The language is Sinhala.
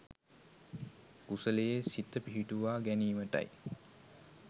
කුසලයේ සිත පිහිටුවා ගැනීමටයි